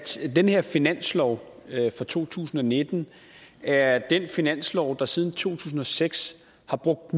den her finanslov for to tusind og nitten er den finanslov der siden to tusind og seks har brugt